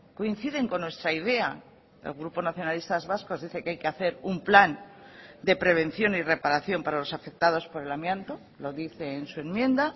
coinciden con nuestra idea el grupo nacionalistas vascos dice que hay que hacer un plan de prevención y reparación para los afectados por el amianto lo dice en su enmienda